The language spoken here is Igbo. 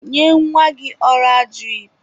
Nye nwa gị ọra dirip.